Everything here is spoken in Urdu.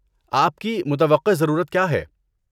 آپ کی متوقع ضرورت کیا ہے؟